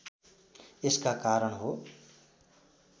यसका कारण हो